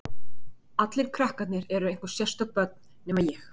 Allir krakkarnir eru einhver sérstök börn, nema ég.